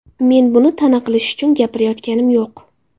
Men buni ta’na qilish uchun gapirayotganim yo‘q.